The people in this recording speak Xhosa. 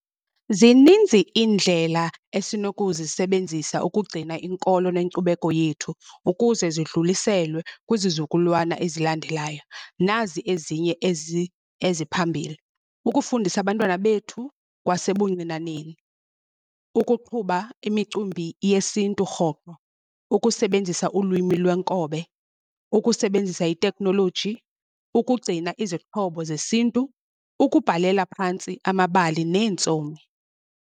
Zininzi iindlela esinokuzisebenzisa ukugcina inkolo nenkcubeko yethu ukuze zidluliselwe kwizizukulwana ezilandelayo. Nazi ezinye ezi eziphambili, ukufundisa abantwana bethu kwasebuncinaneni ukuqhuba imicimbi yesintu rhoqo, ukusebenzisa ulwimi lwenkobe, ukusebenzisa itekhnoloji, ukugcina izixhobo zesintu, ukubhalela phantsi amabali neentsomi.